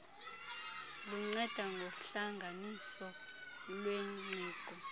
lunceda ngohlanganiso lwengqiqo